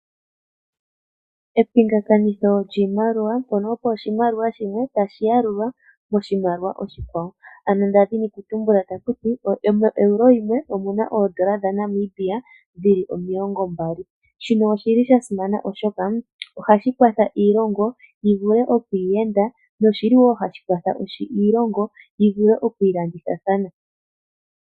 Epingakanitho lyiimaliwa mpono opo oshimaliwa shimwe tashi yalulwa oshimaliwa oshikwawo ano nda dhini oku tumbula taku ti moeuro yimwe oyi na oondola dhaNamibia dhili omilongo mbali. Shino oshili sha simana oshoka ohashi kwatha iilonga yivule oku iyenda noshili wo hashi kwatha iilongo yi vule oku ilandithathana.